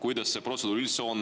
Milline see protseduur üldse on?